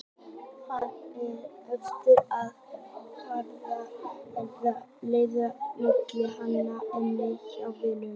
Man óljóst eftir að hafa haft einhverja seðla milli handa inni hjá vininum.